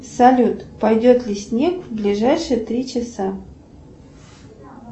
салют пойдет ли снег в ближайшие три часа